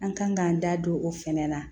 An kan k'an da don o fɛnɛ na